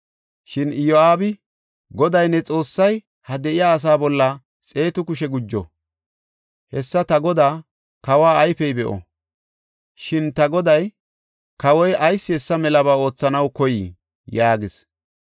Shin Iyo7aabi, “Goday ne Xoossay ha de7iya asaa bolla xeetu kushe gujo! Hessa ta godaa, kawa ayfey be7o! Shin ta goday, kawoy ayis hessa melaba oothanaw koyii?” yaagis.